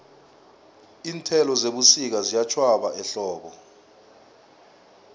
iinthelo zebusika ziyatjhwaba ehlobo